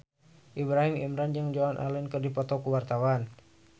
Ibrahim Imran jeung Joan Allen keur dipoto ku wartawan